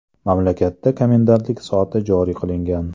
Mamlakatda komendantlik soati joriy qilingan .